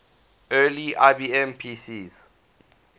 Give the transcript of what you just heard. early ibm pcs